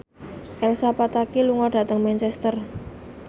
Elsa Pataky lunga dhateng Manchester